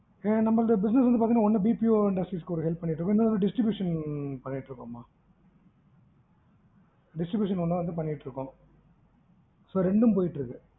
நம்மளிது business பாத்தீங்கன்னாஒன்னு நம்ம வந்து BPO industries க்கு வந்து ஒரு help பண்ணிட்டுருக்கோம் மா. distribution பண்ணிட்டுருக்கோம் மா so ரெண்டும் போயிட்டு இருக்கு.